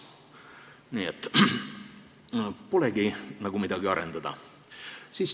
Nii et polegi nagu midagi arendada.